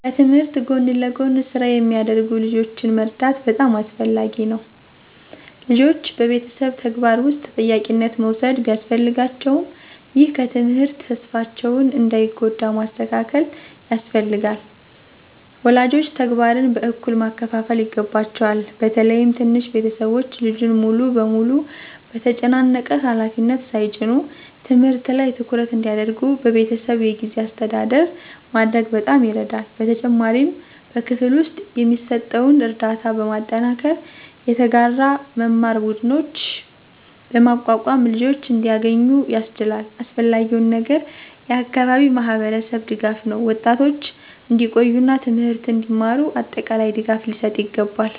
ከትምህርት ጎን ለጎን ስራ የሚያደርጉ ልጆችን መርዳት በጣም አስፈላጊ ነው። ልጆች በቤተሰብ ተግባር ውስጥ ተጠያቂነት መውሰድ ቢያስፈልጋቸውም፣ ይህ ከትምህርት ተስፋቸውን እንዳይጎዳ ማስተካከል ያስፈልጋል። ወላጆች ተግባርን በእኩል ማካፈል ይገባቸዋል፣ በተለይም ትንንሽ ቤተሰቦች ልጁን ሙሉ በሙሉ በተጨናነቀ ሃላፊነት ሳይጭኑ። ትምህርት ላይ ትኩረት እንዲያደርጉ በቤተሰብ የጊዜ አስተዳደር ማድረግ በጣም ይረዳል። በተጨማሪም በክፍል ውስጥ የሚሰጠውን ርዳታ በማጠናከር፣ የተጋራ መማር ቡድኖችን በማቋቋም ልጆች እንዲያገኙ ያስችላል። አስፈላጊው ነገር የአካባቢ ማህበረሰብ ድጋፍ ነው፤ ወጣቶች እንዲቆዩ እና ትምህርትን እንዲማሩ አጠቃላይ ድጋፍ ሊሰጥ ይገባል።